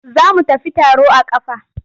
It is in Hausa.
Za mu tafi taro a ƙafa.